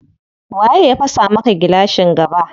Waye ya fasa maka gilashin gaba?